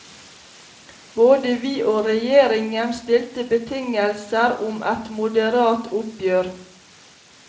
Både vi og regjeringen stilte betingelser om et moderat oppgjør.